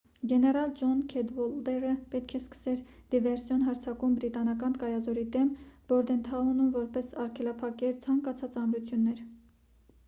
գեներալ ջոն քեդվոլդերը պետք է սկսեր դիվերսիոն հարձակում բրիտանական կայազորի դեմ բորդենթաունում որպեսզի արգելափակեր ցանկացած ամրություններ